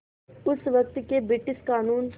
उस वक़्त के ब्रिटिश क़ानून